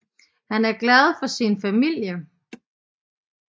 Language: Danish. Han er glad for sin familie